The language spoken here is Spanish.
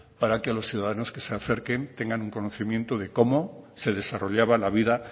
para que los ciudadanos que se acerquen tengan un conocimiento de cómo se desarrollaba la vida